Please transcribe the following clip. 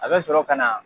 A bɛ sɔrɔ ka na